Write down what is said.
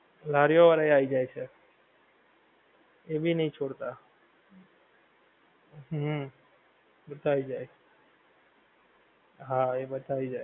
લારીઓ વાળાં એ આવી જાય છે એ ભી નહિ છોડતા. હુંમ બધા આવી જાય છે હા એ બધા આવી જાય.